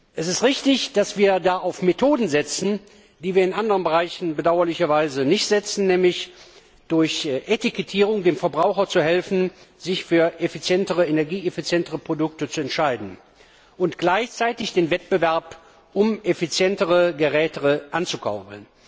Es ist richtig, dass wir da auf Methoden setzen, die wir in anderen Bereichen bedauerlicherweise nicht einsetzen, nämlich durch Etikettierung dem Verbraucher zu helfen, sich für energieeffizientere Produkte zu entscheiden, und gleichzeitig den Wettbewerb um effizientere Geräte anzukurbeln.